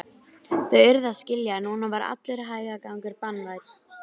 Þau urðu að skilja að núna var allur hægagangur banvænn.